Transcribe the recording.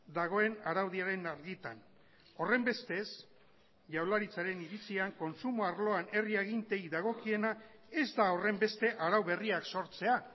dagoen araudiaren argitan horrenbestez jaurlaritzaren iritzian kontsumo arloan herri aginteei dagokiena ez da horrenbeste arau berriak sortzea